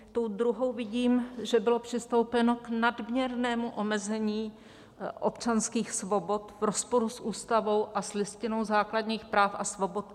Tou druhou vidím, že bylo přistoupeno k nadměrnému omezení občanských svobod v rozporu s Ústavou a s Listinou základních práv a svobod.